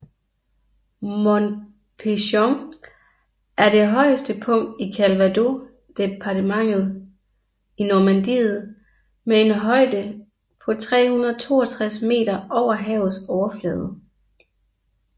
Mont Pinçon er det højeste punkt i Calvados departementet i Normandiet med en højde på 362 meter over havets overflade